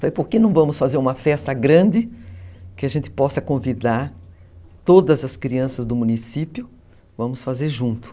Falei, por que não vamos fazer uma festa grande, que a gente possa convidar todas as crianças do município, vamos fazer junto.